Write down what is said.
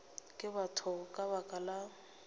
ke batho ka baka la